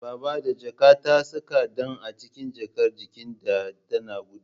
Babba da jaka ta saka ɗan a cikin jakar jikin ta tana gudu